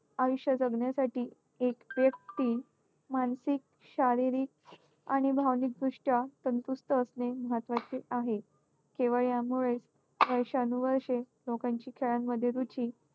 आयुष्य जगण्यासाठी एक व्यक्ती मानसिक, शारीरिक आणि भावनिकदृष्ट्या तंदुरुस्त असणे महत्त्वाचे आहे. केवळ यामुळेच वर्षानुवर्षे लोकांची खेळांमध्ये रुची